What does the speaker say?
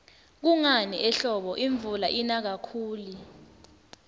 kungani ehlobo imvula ina kakhuli